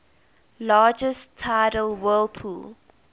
largest tidal whirlpool